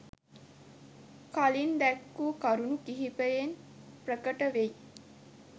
කලින් දැක්වූ කරුණු කිහිපයෙන් ප්‍රකට වෙයි.